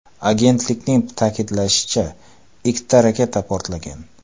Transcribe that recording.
Agentlikning ta’kidlashicha, ikkita raketa portlagan.